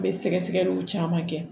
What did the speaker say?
N bɛ sɛgɛsɛgɛliw caman kɛ